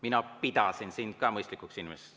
Mina pidasin sind ka mõistlikuks inimeseks.